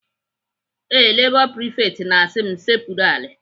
Ee, Lebọ prifekt na-asị m sekpuru ala.